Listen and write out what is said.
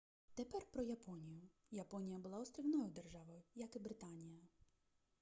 тепер про японію японія була острівною державою як і британія